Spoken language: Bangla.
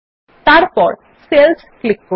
তারপর সেলস ক্লিক করুন